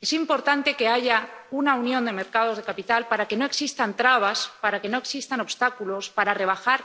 Es importante que haya una unión de los mercados de capitales para que no existan trabas, para que no existan obstáculos, para rebajar